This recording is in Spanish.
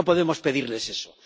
No podemos pedirles eso.